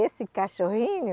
Esse cachorrinho,